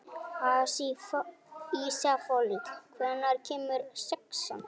Ísafold, hvenær kemur sexan?